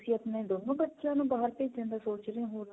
ਤੇ ਤੁਸੀਂ ਆਪਣੇ ਦੋਨੋਂ ਬੱਚਿਆਂ ਨੂੰ ਬਾਹਰ ਭੇਜਣ ਦਾ ਸੋਚ ਰਹੇ ਹੋ ਹੁਣ